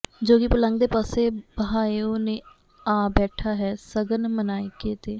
ਜੋਗੀ ਪਲੰਗ ਦੇ ਪਾਸੇ ਬਹਾਇਉ ਨੇ ਆ ਬੈਠਾ ਹੈ ਸ਼ਗਨ ਮਨਾਇਕੇ ਤੇ